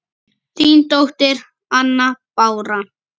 Þín dóttir, Anna Bára.